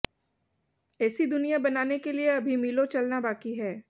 ऐसी दुनिया बनाने के लिए अभी मीलों चलना बाकी है